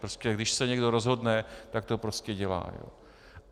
Prostě když se někdo rozhodne, tak to prostě dělá.